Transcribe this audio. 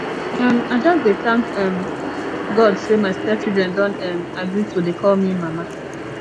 um i just dey thank um god say my step children don um agree to dey call me mama